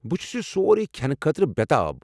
بہٕ چھُس یہِ سورٕی کھٮ۪نہٕ خٲطرٕ بےٚتاب۔